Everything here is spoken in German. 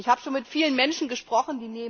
Ich habe schon mit vielen Menschen gesprochen.